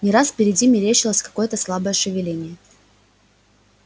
не раз впереди мерещилось какое-то слабое шевеление